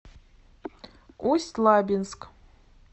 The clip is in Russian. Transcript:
усть лабинск